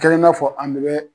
kɛlen n'a fɔ an bɛ